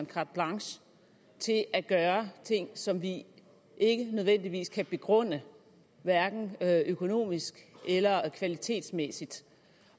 carte blanche til at gøre ting som vi ikke nødvendigvis kan begrunde hverken økonomisk eller kvalitetsmæssigt